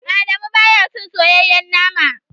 Adamu baya cin soyayyen nama.